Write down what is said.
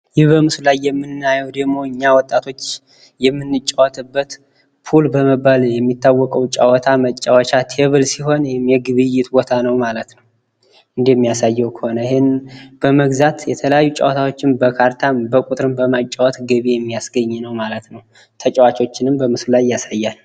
ይህ በምስሉ ላይ የምናየዉ ደግሞ እኛ ወጣቶች የምንጫወትበት ፑል በመባል የሚታወቀዉ ጫዋታ መጫወቻ ቴብል ሲሆን የግብይት ቦታ ነዉ ማለት ነዉ። እንደሚያሳየዉ ከሆነ ይሔን በመግዛት የተለያዩ ጨዋታዎችን በካርታም በቁጥርም በማጫወት ገቢ የሚያስገኝ ነዉ ማለት ነዉ። ተጫዋቾችንም በምስሉ ላይ ያሳያል።